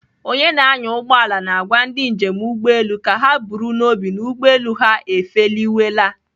Onye na-anya ụgbọala na-agwa ndị njem ụgbọelu ka ha buru n'obi na ụgbọelu ha efeliwela.